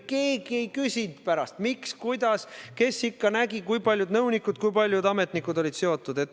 Mitte keegi ei küsinud pärast, miks, kuidas ja kes nägi, kui paljud nõunikud ja ametnikud olid asjaga seotud.